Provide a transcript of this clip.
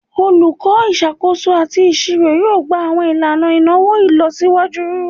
Olukọ Isakoso ati Iṣiro yoo gba awọn ilana inawo ilọsiwaju